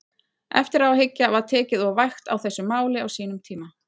Eftir á að hyggja, var tekið of vægt á þessu máli á sínum tíma?